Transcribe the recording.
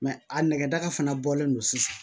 a nɛgɛ daga fana bɔlen don sisan